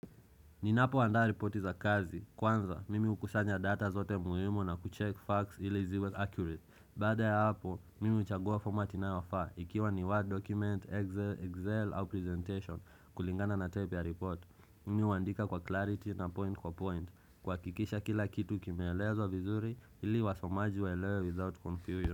Ninapoandaa ripoti za kazi. Kwanza, mimi hukusanya data zote muhimu na kucheck facts ili ziwe accurate. Baada ya hapo, mimi huchagua format inaofaa. Ikiwa ni word document, Excel, Excel, au presentation kulingana na type ya report. Mimi huandika kwa clarity na point kwa point. Kuhakikisha kila kitu kimeelezwa vizuri ili wasomaji waelewe without confusion.